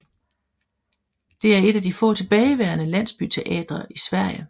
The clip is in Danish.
Det er et af de få tilbageværende landsbyteatre i Sverige